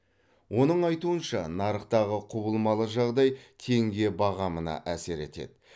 оның айтуынша нарықтағы құбылмалы жағдай теңге бағамына әсер етеді